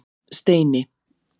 Steini